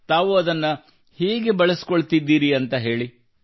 ತಾವು ಅದನ್ನು ಹೇಗೆ ಬಳಸಿಕೊಳ್ಳುತ್ತಿದ್ದೀರಿ ಎಂದು ಹೇಳಿ